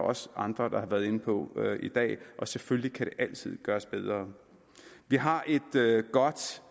også andre der har været inde på i dag og selvfølgelig kan det altid gøres bedre vi har et godt